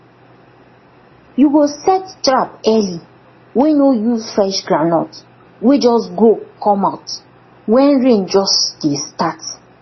you go set trap early wey no use fresh groundnut wey just grow comeout wen rain just dey start